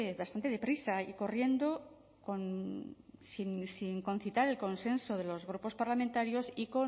bastante deprisa y corriendo sin concitar el consenso de los grupos parlamentarios